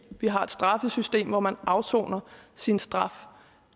vi har et straffesystem hvor man afsoner sin straf